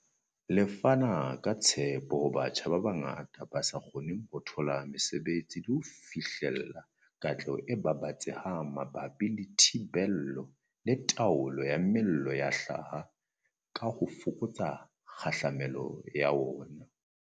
Le fana ka tshepo ho batjha ba bangata ba sa kgoneng ho thola mesebetsi le ho fihlella katleho e babatsehang mabapi le thibelo le taolo ya mello ya hlaha, ka ho fokotsa kgahlamelo ya yona.